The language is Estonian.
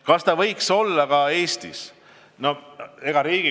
Kas nii võiks olla ka Eestis?